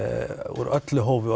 úr öllu hófi